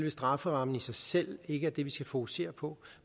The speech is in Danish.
at strafferammen i sig selv ikke er det vi skal fokusere på